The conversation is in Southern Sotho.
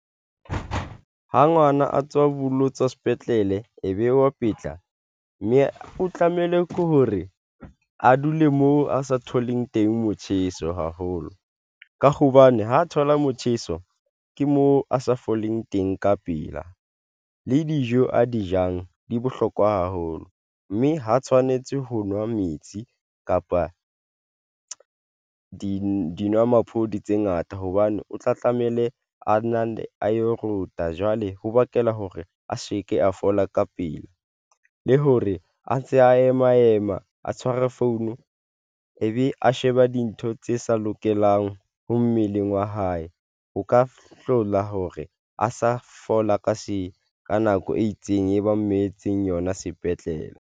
Ha ngwana a tswa bolotsa sepetlele ebe wa petla, mme o tlamehile hore a dule mo a sa tholeng teng, motjheso haholo ka hobane ha thola motjheso, ke mo a sa foleng teng ka pela le dijo a di jang di bohlokwa haholo mme ha tshwanetse ho nwa metsi kapa dinwamaphodi tse ngata hobane o tla tlameile ana ne alo rota, jwale ho bakela hore a se ke a fola ka pele, le hore a ntse a ema ema a tshware phone ebe a sheba dintho tse sa lokelang ho mmeleng wa hae ho ka hlola hore a sa fola ka se ka nako e itseng, e ba metseng yona sepetlele.